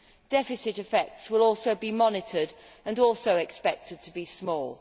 Deficit effects will also be monitored and are also expected to be small.